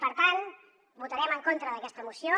per tant votarem en contra d’aquesta moció